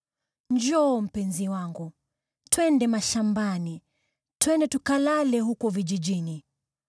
Njoo, mpenzi wangu, twende mashambani, twende tukalale huko vijijini.